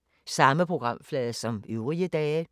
Samme programflade som øvrige dage